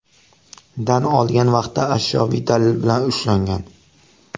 dan olgan vaqtda ashyoviy dalil bilan ushlangan.